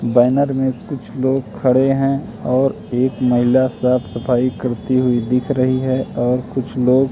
banner में कुछ लोग खड़े हैं और एक महिला साफ सफाई करती हुई दिख रही है और कुछ लोग--